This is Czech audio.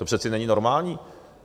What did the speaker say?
To přece není normální!